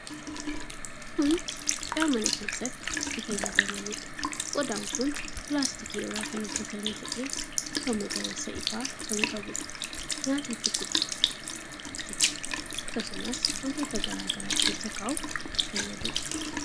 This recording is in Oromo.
Kun qodaa mana keessatti itti fayyadamaniidha. Qodaan kun pilaastikii irraa kan hojjetame ta'ee, bifa magariisa ifaa kan qabuudha. Nyaata itti qopheessuuf, bishaan itti kuusuuf, akkasumas wantoota garaa garaa keessa kaa'uuf kan fayyaduudha.